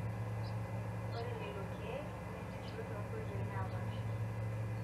Ore lelo keek neesisho too nkoitoi naapasha.